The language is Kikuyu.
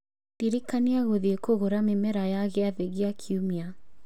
Ndirikania gũthiĩ kũgũra mĩmera ya gĩathĩ gia kiumia